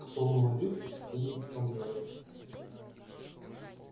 кто говорит что не доставляет